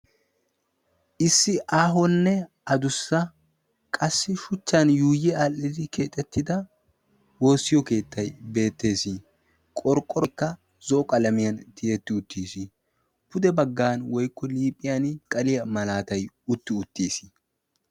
issi aahonne adussa qassi shuchchan yuuyi aadhdhidi keexettida woossiyo keettai beettees qorqqorikka zoo qalamiyan tiyetti uttiis pude baggan woikko liipphiyan masqaliyaa malaatai utti uttiis